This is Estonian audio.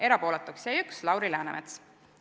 Erapooletuks jäi üks, Lauri Läänemets.